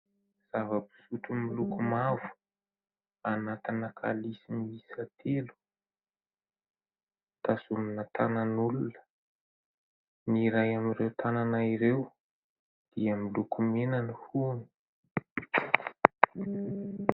Zava-pisotro miloko mavo, anatina kalisy miisa telo. Tazomina tanan'olona. Ny iray amin'ireo tanana ireo dia miloko mena ny hohony.